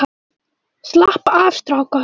Slappa af strákar!